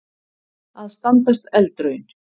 Að standast eldraun